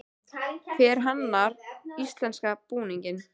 Hver hannar íslenska búninginn?